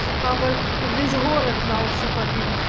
папа весь город на уши поднимет